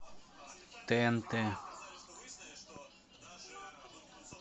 тнт